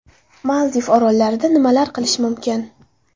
Maldiv orollarida nimalar qilish mumkin?